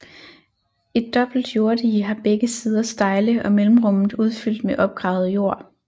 Et dobbelt jorddige har begge sider stejle og mellemrummet udfyldt med opgravet jord